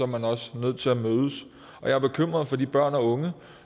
man også nødt til at mødes og jeg er bekymret for de børn og unge